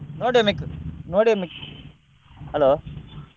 hello.